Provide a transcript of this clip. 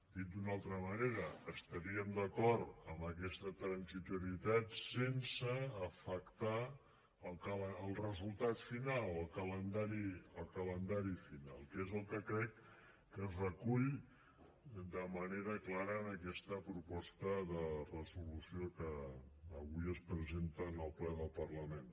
dit d’una altra manera estaríem d’acord en aquesta transitorietat sense afectar el resultat final el calendari final que és el que crec que es recull de manera clara en aquesta proposta de resolució que avui es presenta en el ple del parlament